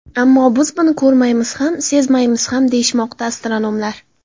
Ammo biz buni ko‘rmaymiz ham, sezmaymiz ham, deyishmoqda astronomlar.